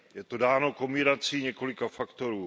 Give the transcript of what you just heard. Je to dáno kombinací několika faktorů.